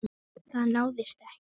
Það náðist ekki.